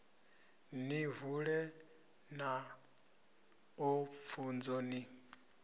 ni vule maṱo pfunzo ni